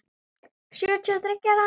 Sjötíu og þriggja ára!